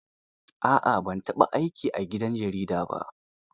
A'a ban taɓa aiki a gidan jarida ba.